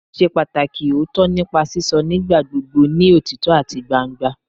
Mo ṣe pataki ooto nipa sisọ nigbagbogbo ni otitọ ati gbangba